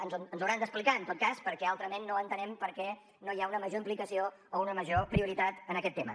ens ho hauran d’explicar en tot cas perquè altrament no entenem per què no hi ha una major implicació o una major prioritat en aquest tema